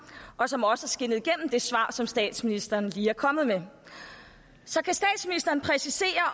og som også er skinnet igennem i det svar som statsministeren lige er kommet med så kan statsministeren præcisere